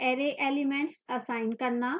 array elements assign करना